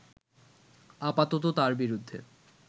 আপাতত তার বিরুদ্ধে